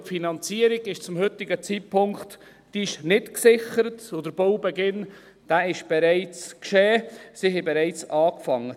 Denn die Finanzierung ist zum heutigen Zeitpunkt nicht gesichert, und der Baubeginn, der ist bereits geschehen, sie haben bereits angefangen.